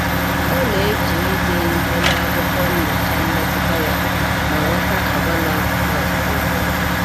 Ọ na-eji ide ihe n’akwụkwọ nyochaa mmetụta ya ma ghọta àgwà na-apụta ugboro ugboro.